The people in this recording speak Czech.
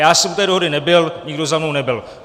Já jsem u té dohody nebyl, nikdo za mnou nebyl.